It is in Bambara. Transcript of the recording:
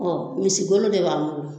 misi golo de b'an bolo